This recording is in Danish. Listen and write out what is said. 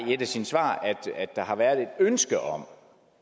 i et af sine svar at der har været et ønske om